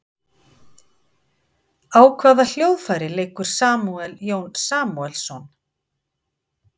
Á hvaða hljóðfæri leikur Samúel Jón Samúelsson?